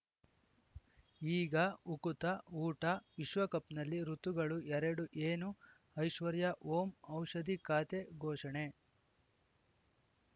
ಈಗ ಉಕುತ ಊಟ ವಿಶ್ವಕಪ್‌ನಲ್ಲಿ ಋತುಗಳು ಎರಡು ಏನು ಐಶ್ವರ್ಯಾ ಓಂ ಔಷಧಿ ಖಾತೆ ಘೋಷಣೆ